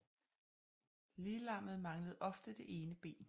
Liglammet manglede ofte det ene ben